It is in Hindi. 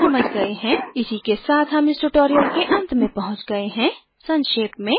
इसी के साथ हम इस tutorial के अंत में पहुँच गए है संक्षेप में